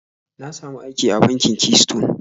Ta samu aiki a bankin Keystone